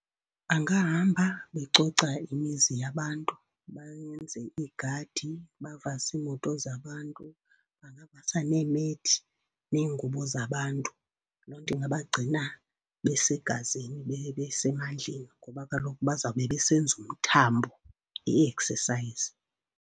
Bangahamba becoca imizi yabantu, benze iigadi, bavase iimoto zabantu. Bangavasa neemethi, neengubo zabantu. Loo nto ingabagcina besegazini, besemandleni ngoba kaloku bazawube besenza umthambo, i-exercise.